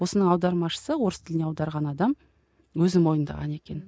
осының аудармашысы орыс тіліне аударған адам өзі мойындаған екен